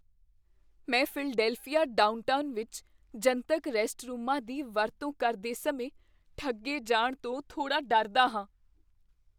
ਮੈਂ Philadelphia downtown ਵਿੱਚ ਜਨਤਕ ਰੈਸਟਰੂਮਾਂ ਦੀ ਵਰਤੋਂ ਕਰਦੇ ਸਮੇਂ ਠੱਗੇ ਜਾਣ ਤੋਂ ਥੋੜ੍ਹਾ ਡਰਦਾ ਹਾਂ।